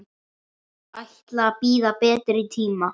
Ætla að bíða betri tíma.